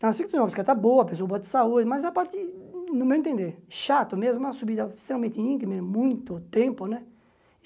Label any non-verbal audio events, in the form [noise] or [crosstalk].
[unintelligible] estar boa, pessoa boa de saúde, mas a partir, no meu entender, chato mesmo, uma subida extremamente íngreme, muito tempo, né?